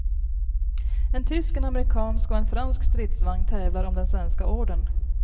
En tysk, en amerikansk och en fransk stridsvagn tävlar om den svenska ordern.